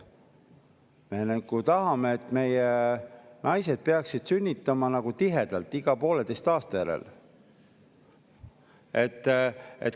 Me nagu tahame, et meie naised peaksid sünnitama tihedalt, iga pooleteise aasta järel.